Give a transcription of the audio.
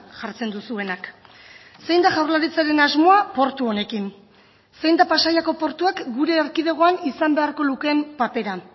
jartzen duzuenak zein da jaurlaritzaren asmoa portu honekin zein da pasaiako portuak gure erkidegoan izan beharko lukeen papera